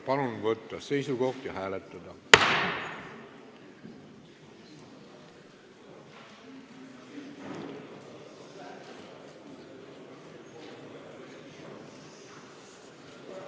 Palun võtta seisukoht ja hääletada!